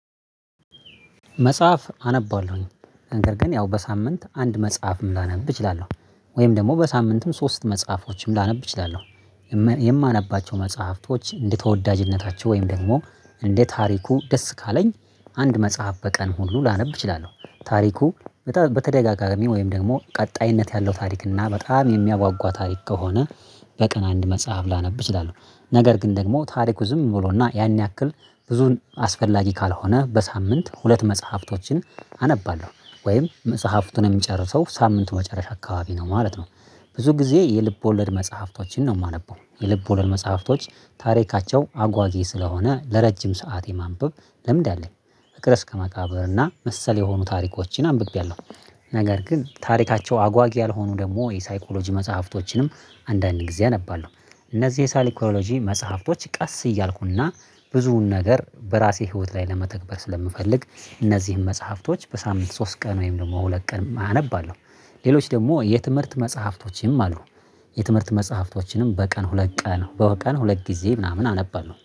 መጽሐፍ አነባለሁኝ። ነገር ግን ያው በሳምንት አንድ መጽሐፍም ላነብ እችላለሁ። ወይም ደግሞ በሳምንትም ሶስት መጽሐፎችም ላነብ እችላለሁ። የማነባቸው መጽሐፍቶች እንደ ተወዳጅነታቸው ወይም ደግሞ እንደ ታሪኩ ደስ ካለኝ፣ አንድ መጽሐፍ በቀን ሁሉ ላነብ እችላለሁ። ታሪኩ በጣም በተደጋጋሚ ወይም ደግሞ ቀጣይነት ያለው ታሪክ እና በጣም የሚያጓጓዋ ታሪክ ከሆነ በቀን አንድ መጽሐፍ ላነብ እችላለው። ነገር ግን ደግሞ ታሪኩ ዝም ብሎና ያን ያክል ብዙን አስፈላጊ ካልሆነ በሳምንት ሁለት መጽሐፍቶችን አነባለሁ። ወይም መጽሐፍቱን እምጨርሰው ሳምንቱ መጨረሻ አካባቢ ነው ማለት ነው። ብዙ ጊዜ የልብ ወለድ መጽሐፍቶችን ነው ማነበው። የልብ ወለድ መጽሐፍቶች ታሪካቸው አጓጊ ስለሆነ ለረጅም ሰዓት የማንበብ ልምድ አለኝ። ፍቅር እስከ መቃብርና መሰል የሆኑ ታሪኮችን አንብቤያለሁ። ነገር ግን ታሪካቸው አጓጊ ያልሆኑ ደግሞ የሳይኮሎጂ መጽሐፍቶችንም አንዳንድ ጊዜ አነባለሁ። እነዚህ የሳይኮሎጂ መጽሐፍቶች ቀስ እያልኩና ብዙውን ነገር በራሴ ህይወት ላይ ለመተግበር ስለምፈልግ እነዚህን መጽሐፍቶች በሳምንት ሶስት ቀን ወይም ደግሞ ሁለት ቀን አነባለሁ። ሌሎች ደግሞ የትምህርት መጽሐፍቶችም አሉ። የትምህርት መጽሐፍቶችንም በቀን ሁለት ቀን በቀን ሁለት ጊዜ ምናምን አነባለው።